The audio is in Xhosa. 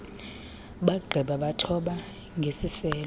bagqiba bathoba ngeziselo